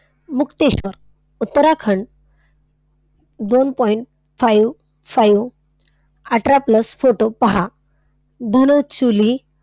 मुक्तेश्वर, उत्तराखंड, दोन point five five अठरा plus photo पहा. धनचुली,